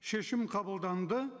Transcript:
шешім қабылданды